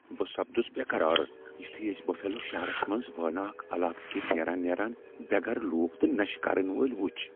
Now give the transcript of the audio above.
بہ سپدُس بیقرار یُتھُے اسۍ بفیلو شہرس منز وٲناکھ علاقہٕ کِنۍ نیران نیران بے گرٕ لوٗکھ تہٕ نشہٕ کرن وٲلۍ وُچھ ۔